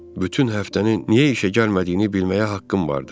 Bütün həftəni niyə işə gəlmədiyini bilməyə haqqım vardır.